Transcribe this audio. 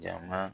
Jama